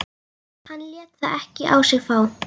Hann lét það ekki á sig fá.